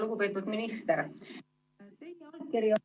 Lugupeetud minister!